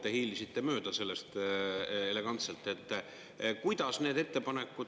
Te hiilisite mööda sellest elegantselt, kuidas need ettepanekud …